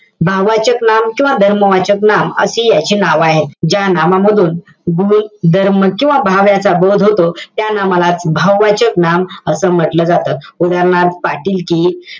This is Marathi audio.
भाववाचक नाम किंवा धर्मवाचक नाम अशी याची नावं आहेत. ज्या नामामधून गुणधर्म, किंवा भाव याचा बोध होतो, त्या नामाला भाववाचक नाम असं म्हंटल जातं. उदाहरणार्थ, पाटीलकी,